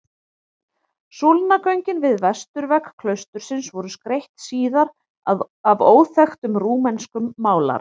Súlnagöngin við vesturvegg klaustursins voru skreytt síðar af óþekktum rúmenskum málara.